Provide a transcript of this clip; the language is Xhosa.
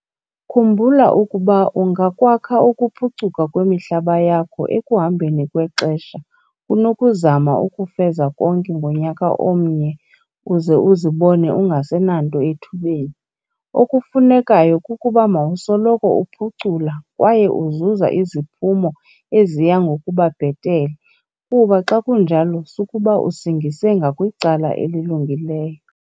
Khumbula ukuba ungakwakha ukuphucuka kwemihlaba yakho ekuhambeni kwexesha kunokuzama ukufeza konke ngonyaka omnye uze uzibone ungasenanto ethubeni. Okufunekayo kukuba mawusoloko uphucula kwaye uzuza iziphumo eziya ngokuba bhetele kuba xa kunjalo sukuba usingise ngakwicala elilungileyo.